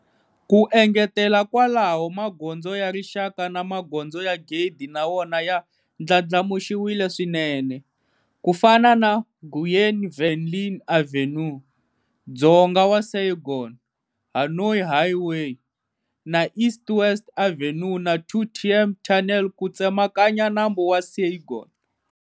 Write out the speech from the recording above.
Ku engetela kwalaho, Magondzo ya Rixaka na Magondzo ya Gede na wona ya ndlandlamuxiwile swinene, ku fana na Nguyen Van Linh Avenue Dzonga wa Saigon, Hanoi Highway ku ya eBien Hoa, na East-West Avenue na Thu Thiem Tunnel ku tsemakanya Nambu wa Saigon.